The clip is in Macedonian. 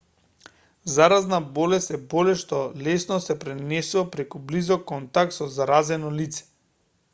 заразна болест е болест што лесно се пренесува преку близок контакт со заразено лице